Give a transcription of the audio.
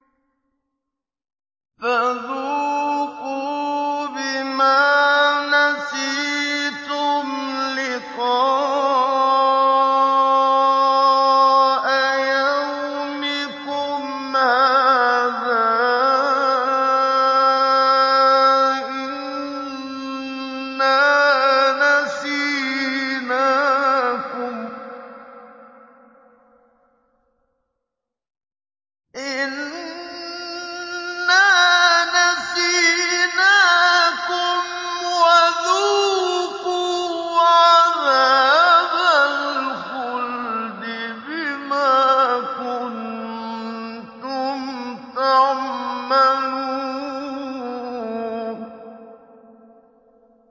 فَذُوقُوا بِمَا نَسِيتُمْ لِقَاءَ يَوْمِكُمْ هَٰذَا إِنَّا نَسِينَاكُمْ ۖ وَذُوقُوا عَذَابَ الْخُلْدِ بِمَا كُنتُمْ تَعْمَلُونَ